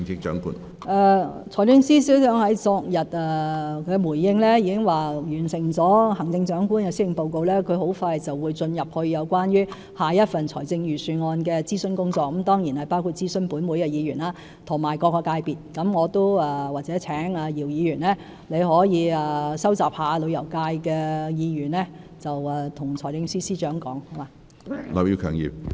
財政司司長昨天在回應時已表示，在完成了行政長官的施政報告，他很快便會投入有關下一份財政預算案的諮詢工作，這當然包括諮詢立法會議員及各個界別，或許我請姚議員收集旅遊界的意見，向財政司司長反映。